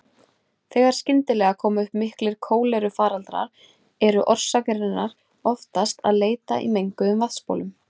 Þegar skyndilega koma upp miklir kólerufaraldrar er orsakarinnar oftast að leita í menguðum vatnsbólum.